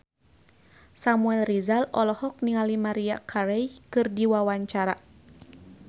Samuel Rizal olohok ningali Maria Carey keur diwawancara